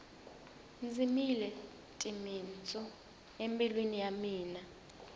dzimile timitsu embilwini ya mina